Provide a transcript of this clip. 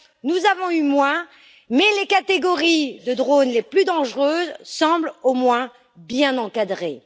Nous avons eu moins, mais les catégories de drones les plus dangereuses semblent au moins bien encadrées.